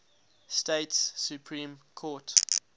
states supreme court